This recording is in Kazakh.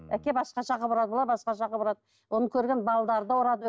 әке басқаша қылып ұрады олар басқаша қылып ұрады оны көрген балалары да ұрады